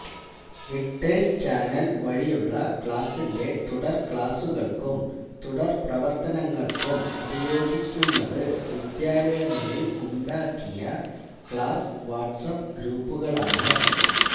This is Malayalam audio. വിക്ടേഴ്സ്ചാനൽ വഴിയുള്ള ക്ലാസിന്റെ തുടർക്ലാസുകൾക്കും തുടർപ്രവർത്തനങ്ങൾക്കും ഉപയോഗിക്കുന്നത് വിദ്യാലയങ്ങളിൽ ഉണ്ടാക്കിയ ക്ലാസ് വാട്സ്ആപ്പ് ഗ്രൂപ്പുകളാണ്